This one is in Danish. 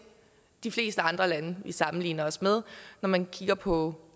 de fleste andre lande vi sammenligner os med når man kigger på